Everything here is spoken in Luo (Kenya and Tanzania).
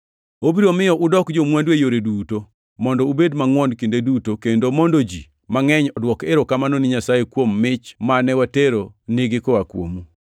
Obiro miyo udok jo-mwandu e yore duto, mondo ubed mangʼwon kinde duto, kendo mondo ji mangʼeny odwok erokamano ni Nyasaye kuom mich mane watero nigi koa kuomu.